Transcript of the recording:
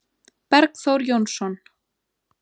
Bergþór Jónsson